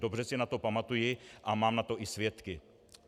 Dobře si na to pamatuji a mám na to i svědky.